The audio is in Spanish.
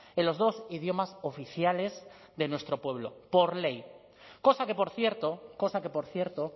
en los dos idiomas oficiales de nuestro pueblo por ley cosa que por cierto cosa que por cierto